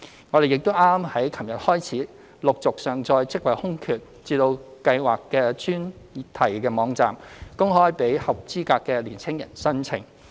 我們亦於昨天開始陸續上載職位空缺至計劃的專題網站，公開讓合資格的年輕人申請。